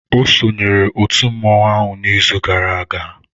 Ọ sonyeere otu mmọnwụ ahụ n'izu gara aga.